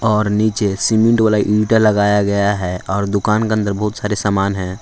और नीचे सीमेंट वाला ईंटे लगाया गया है और दुकान के अंदर बहुत सारे सामान है।